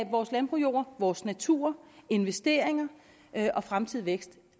vores landbrugsjord vores natur investeringer og fremtidig vækst